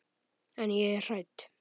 En ég er hrædd.